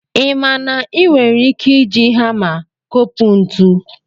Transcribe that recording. Ị ma na ị nwere ike iji hama kopụ ntu?